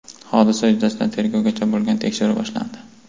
Hodisa yuzasidan tergovgacha bo‘lgan tekshiruv boshlandi.